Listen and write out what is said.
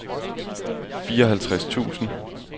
fireoghalvtreds tusind